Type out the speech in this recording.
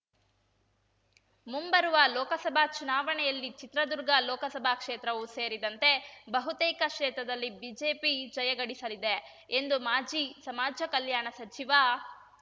ಮುಂಬರುವ ಲೋಕಸಭಾ ಚುನಾವಣೆಯಲ್ಲಿ ಚಿತ್ರದುರ್ಗ ಲೋಕಸಭಾ ಕ್ಷೇತ್ರವೂ ಸೇರಿದಂತೆ ಬಹುತೇಕ ಕ್ಷೇತ್ರದಲ್ಲಿ ಬಿಜೆಪಿ ಜಯಗಳಿಸಲಿದೆ ಎಂದು ಮಾಜಿ ಸಮಾಜ ಕಲ್ಯಾಣ ಸಚಿವ